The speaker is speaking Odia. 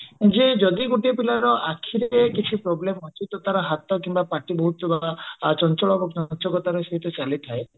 ଯେ ଯଦି ଗୋଟିଏ ପିଲାର ଆଖିରେ କିଛି problem ଅଛି ତ ତାର ହାତ କିମ୍ବା ପାଟି ବହୁତ ମାନେ ଚଞ୍ଚଳ ରହୁ ଚଞ୍ଚକତାର ସହ ଚାଲିଥାଏ